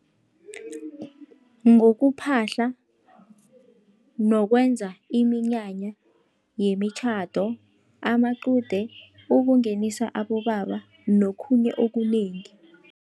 Ngokuphahla nokwenza iminyanya yemitjhado, amaqude, ukungenisa abobaba nokhunye okunengi.